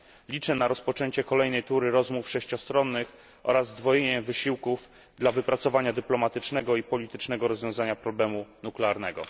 Liczę na rozpoczęcie kolejnej tury rozmów sześciostronnych oraz zdwojenia wysiłków dla wypracowania dyplomatycznego i politycznego rozwiązania problemu nuklearnego.